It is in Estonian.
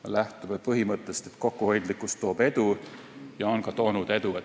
Me lähtume põhimõttest, et kokkuhoidlikkus toob edu ja see on ka toonud edu.